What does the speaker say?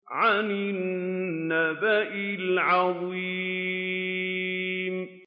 عَنِ النَّبَإِ الْعَظِيمِ